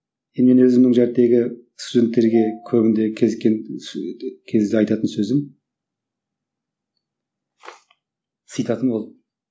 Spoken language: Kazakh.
енді менің өзімнің студенттерге көбінде кезіккен кезде айтатын сөзім цитатым ол